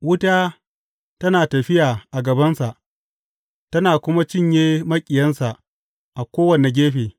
Wuta tana tafiya a gabansa tana kuma cinye maƙiyansa a kowane gefe.